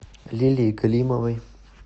лилии галимовой